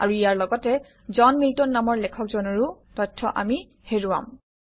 আৰু ইয়াৰ লগতে জন মিল্টন নামৰ লেখকজনৰো তথ্য আমি হেৰুৱাম